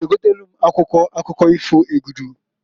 I g'egotalu m akwụkwọ akụkọ ifo Egudu?